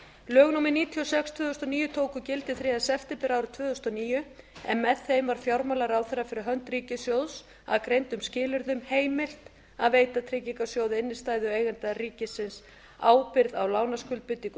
lög númer níutíu og sex tvö þúsund og níu tóku gildi þriðja september árið tvö þúsund og níu en með þeim var fjármálaráðherra fh ríkissjóðs að greindum skilyrðum heimilað að veita tryggingarsjóði innstæðueigenda ríkisábyrgð á lánaskuldbindingum